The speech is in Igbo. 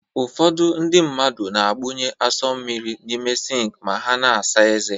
Ụfọdụ ndị mmadụ na-agbụnye asọ mmiri n'ime sịnk ma ha na-asa ezé